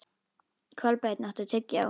Kolbeinn, áttu tyggjó?